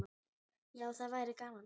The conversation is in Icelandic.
Já, það væri gaman.